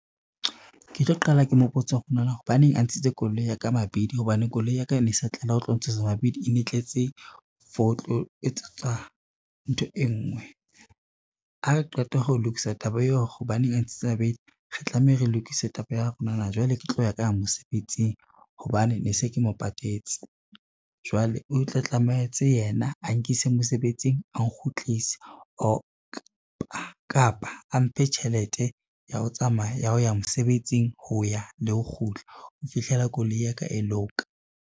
Ke tlo qala ke mo botse hore na hobaneng a ntshitse koloi ya ka mabidi hobane koloi ya ka e ne sa tlela ho tlo ntshwa sa mabidi e ne e tletse for ho tlo etsa tswa ntho e ngwe. Ha re qeta ho lokisa taba ya hore hobaneng a ntshitse habedi, re tlameha re lokise taba ya hore nana jwale ke tlo ya kang mosebetsing hobane ne se ke mo patetse. Jwale o tla tlamehetse yena a nkise mosebetsing, a nkgutlise kapa a mphe tjhelete ya ho tsamaya ya ho ya mosebetsing ho ya le ho kgutla ho fihlela koloi ya ka e loka.